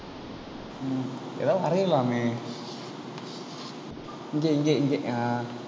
உம் ஏதாவது வரையலாமே இங்கே இங்கே ஆஹ்